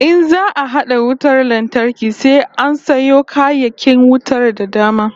In za'a hada wutar lantarki sai an sayo kayayyakin wutar da dama